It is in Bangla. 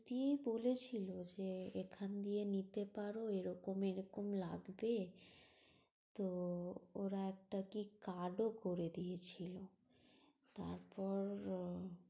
দিয়েই বলছিল যে এখান দিয়ে নিতে পারো এরকম এরকম লাগবে। তো ওরা একটা কী card ও করে দিয়েছিল। তারপর